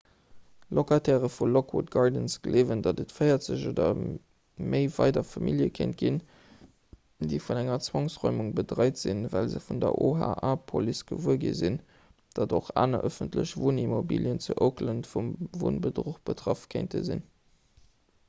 locataire vu lockwood gardens gleewen datt et 40 oder méi weider famillje kéint ginn déi vun enger zwangsräumung bedréit sinn well se vun der oha-police gewuer gi sinn datt och aner ëffentlech wunnimmobilien zu oakland vum wunnbedruch betraff kéinte sinn